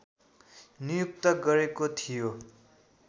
नियुक्त गरेको थियो